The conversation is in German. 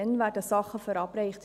Dann werden Dinge verabreicht.